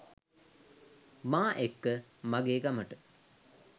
මා එක්ක මගෙ ගමට